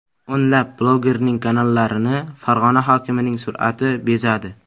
O‘nlab blogerning kanallarini Farg‘ona hokimining surati bezadi.